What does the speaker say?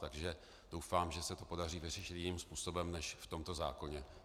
Takže doufám, že se to podaří vyřešit jiným způsobem než v tomto zákoně.